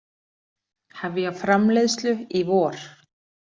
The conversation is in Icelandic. Hefja framleiðslu í vor